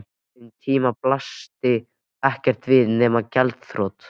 Um tíma blasti ekkert við nema gjaldþrot.